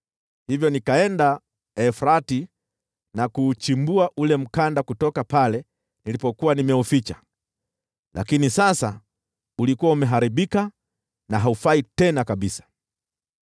Hivyo nikaenda Frati na kuuchimbua ule mkanda kutoka pale nilipokuwa nimeuficha, lakini sasa ulikuwa umeharibika na haufai tena kabisa.